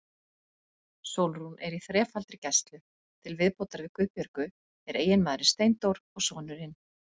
Sólrún er í þrefaldri gæslu, til viðbótar við Guðbjörgu er eiginmaðurinn Steindór og sonurinn